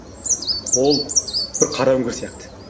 ол бір қара үңгір сияқты